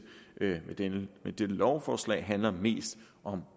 med dette lovforslag handler mest om